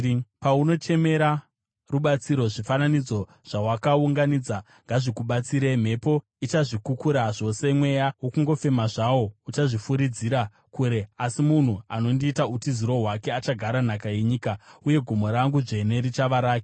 Paunochemera rubatsiro, zvifananidzo zvawakaunganidza ngazvikubatsire! Mhepo ichazvikukura zvose, mweya wokungofema zvawo uchazvifuridzira kure. Asi munhu anondiita utiziro hwake achagara nhaka yenyika, uye gomo rangu dzvene richava rake.”